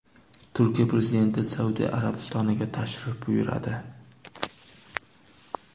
Turkiya prezidenti Saudiya Arabistoniga tashrif buyuradi.